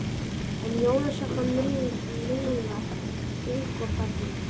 En Jónsa fannst Milla ung og falleg.